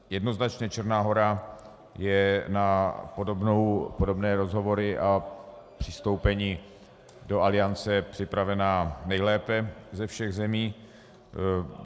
Jednoznačně Černá Hora je na podobné rozhovory a přistoupení do Aliance připravena nejlépe ze všech zemí.